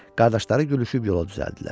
Qardaşları gülüşüb yola düzəldilər.